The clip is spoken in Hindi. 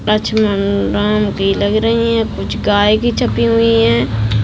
लक्ष्मन राम की लग रही है कुछ गाय भी छपी हुई है।